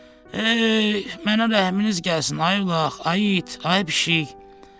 Hey, mənə rəhminiz gəlsin ay ulaq, ay it, ay pişik.